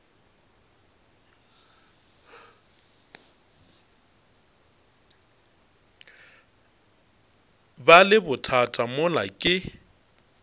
ba le bothata mola ke